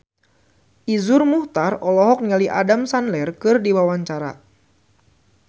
Iszur Muchtar olohok ningali Adam Sandler keur diwawancara